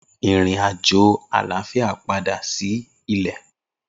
Irin-ajo àlàáfíà pada si ilé